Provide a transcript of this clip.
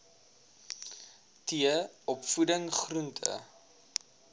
t opvoeding groente